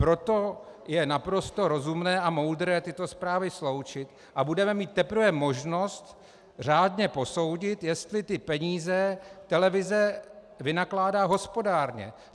Proto je naprosto rozumné a moudré tyto zprávy sloučit a budeme mít teprve možnost řádně posoudit, jestli ty peníze televize vynakládá hospodárně.